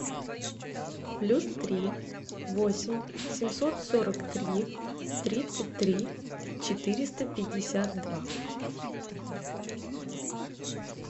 плюс три восемь семьсот сорок три тридцать три четыреста пятьдесят два